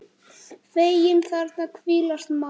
Feginn þarna hvílast má.